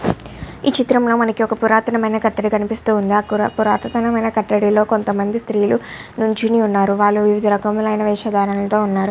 హి ఈ చిత్రం లో మనకు వక పోరాతన కటడము కనిపెస్తునది. ఏది మనకు పోరాతన కతడిలో వక శ్రీలు కదతము ఉనది. వక అరుపు రాగులు లో ఉనాడు. కొండ పైన నాచు కొనడ పైన ఉనది ఇక్కడ.